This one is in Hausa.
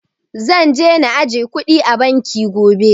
Zan je na ajiye kuɗi a banki gobe